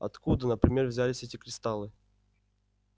откуда например взялись эти кристаллы